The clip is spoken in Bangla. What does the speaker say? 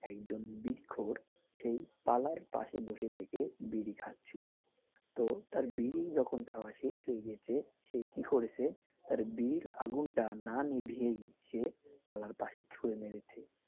একজন বিড়িখোর সেই পালার পাশে বসে থেকে বিড়ি খাচ্ছিল তো তার বিড়ি যখন খাওয়া শেষ হয়ে গেছে সে সে কি করেছে বিড়ির আগুনটা না নিভিয়েই সে পালার পাশে ছুঁড়ে মেরেছে